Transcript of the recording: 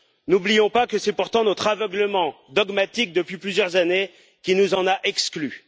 N'oublions pas que c'est pourtant notre aveuglement dogmatique depuis plusieurs années qui nous en a exclus.